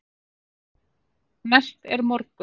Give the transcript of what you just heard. Næst er morgunn.